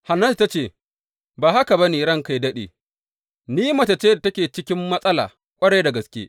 Hannatu ta ce, Ba haka ba ne, ranka yă daɗe, ni mace ce da take cikin matsala ƙwarai da gaske.